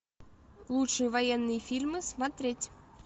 лучшие военные фильмы смотреть